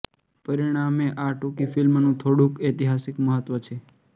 પરિણામે આ ટૂંકી ફિલ્મનું થોડુંક ઐતિહાસિક મહત્વ છે